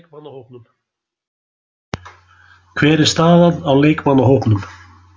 Hver er staðan á leikmannahópnum?